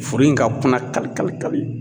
Furu in ka kuna kali kali kali